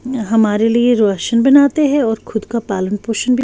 हमारे लिए रोशन बनाते हैं और खुद का पालन पोषण भी--